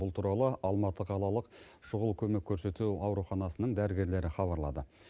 бұл туралы алматы қалалық шұғыл көмек көрсету ауруханасының дәрігерлері хабарлады